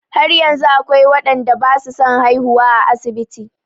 Har yanzu akwai waɗanda ba su son haihuwa a asibiti.